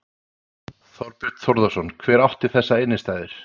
Þorbjörn Þórðarson: Hver átti þessar innstæður?